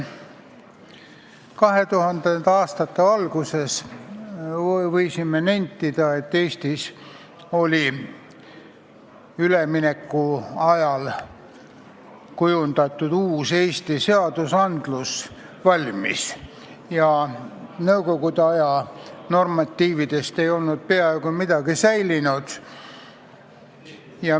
2000. aastate alguses võisime nentida, et Eestis olid üleminekuajal kujundatud valmis uued Eesti seadused ja nõukogude aja normatiividest ei olnud peaaegu midagi säilinud.